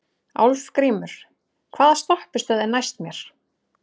Álfgrímur, hvaða stoppistöð er næst mér?